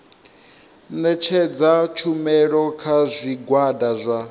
ṋetshedza tshumelo kha zwigwada zwa